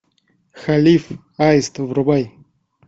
халиф аист врубай